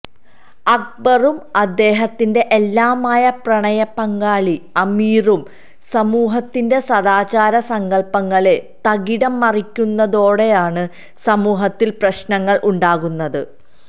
അക്ബറും അദ്ദേഹത്തിന്റെ എല്ലാമായ പ്രണയപങ്കാളി അമീറും സമൂഹത്തിന്റെ സദാചാര സങ്കല്പ്പങ്ങളെ തകിടം മറികടക്കുന്നതോടെയാണ് സമൂഹത്തില് പ്രശ്നങ്ങള് ഉണ്ടാകുന്നത്